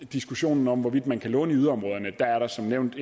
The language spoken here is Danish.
diskussionen om hvorvidt man kan låne i yderområderne er der som nævnt